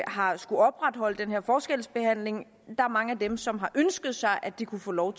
har skullet opretholde den her forskelsbehandling er mange af dem som har ønsket sig at de kunne få lov